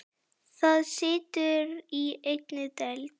Það situr í einni deild.